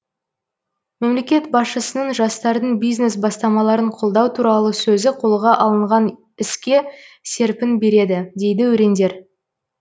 мемлекет басшысының жастардың бизнес бастамаларын қолдау туралы сөзі қолға алынған іске серпін береді дейді өрендер